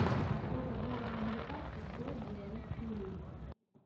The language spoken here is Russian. сколько долларов американских стоит белорусский рубль